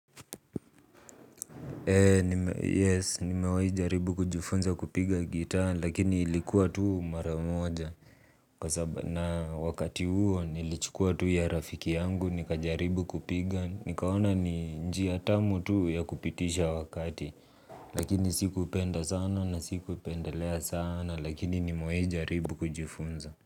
Yes, nimewai jaribu kujifunza kupiga gitaa lakini ilikuwa tuu mara moja. Na wakati huo nilichukua tuu ya rafiki yangu nikajaribu kupiga. Nikaona ni njia tamu tuu ya kupitisha wakati. Lakini sikupenda sana na sikupendelea sana lakini nimewai jaribu kujifunza.